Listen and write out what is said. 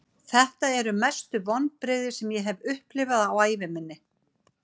Þetta eru mestu vonbrigði sem ég hef upplifað á ævi minni.